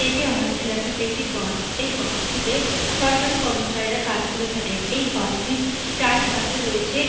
এটি আমাদের এলাকার একটি বাঁধ। এই বাধঁটিতে সরকারি কর্মচারীরা কাজ করে থাকেন। এই বাধঁটির চারিপাশে রয়েছে --